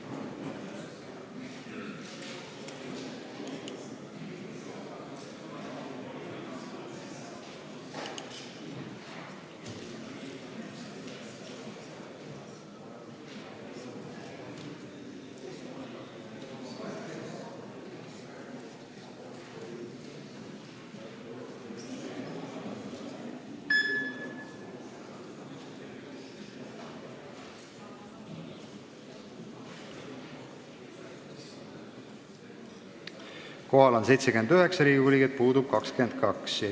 Kohaloleku kontroll Kohal on 79 Riigikogu liiget, puudub 22.